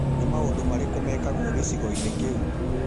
Nĩ maũndũ marĩkũ mekagwo gĩcigo-inĩ kĩu